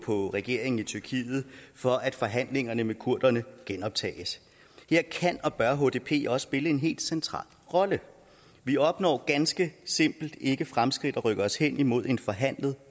på regeringen i tyrkiet for at forhandlingerne med kurderne genoptages her kan og bør hdp også spille en helt central rolle vi opnår ganske simpelt ikke fremskridt der rykker os hen imod en forhandlet